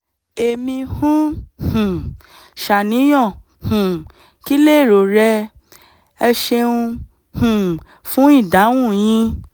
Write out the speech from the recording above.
èmi ń um ṣàníyàn um - kí lèrò rẹ? ẹ ṣeun um fún ìdáhùn yín!